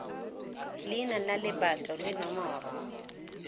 leina la lebato le nomoro